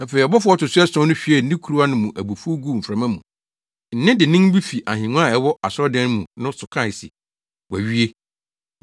Afei ɔbɔfo a ɔto so ason no hwiee ne kuruwa no mu abufuw guu mframa mu. Nne dennen bi fi ahengua a ɛwɔ asɔredan no mu no so kae se, “Wɔawie.”